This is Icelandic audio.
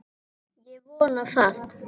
Ég vona það.